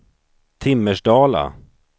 Timmersdala